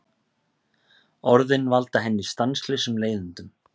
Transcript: Orðin valda henni stanslausum leiðindum.